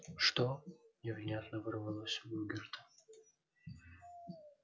что невнятно вырвалось у богерта